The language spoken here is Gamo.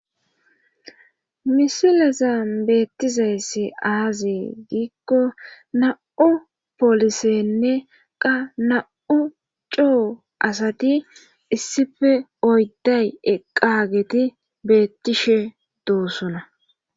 misilazan beettizayssi aaze giikko na7u polisenne qa na7u coo asati issife oydday eqqageti beettishe doosona